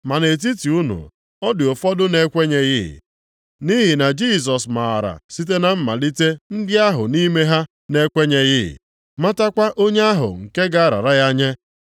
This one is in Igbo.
Ma nʼetiti unu, ọ dị ụfọdụ na-ekwenyeghị.” Nʼihi na Jisọs maara site na mmalite ndị ahụ nʼime ha na-ekwenyeghị, matakwa onye ahụ nke ga-arara ya nye.